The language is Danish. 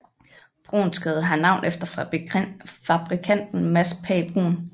Bruuns Gade har navn efter fabrikanten Mads Pagh Bruun